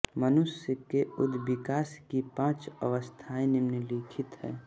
मनुष्य के उदविकास की पाँच अवस्थाएँ निम्नलिखित है